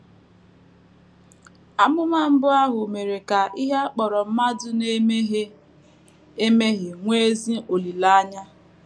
Amụma mbụ ahụ mere ka ihe a kpọrọ mmadụ na - emehie emehie nwee ezi olileanya.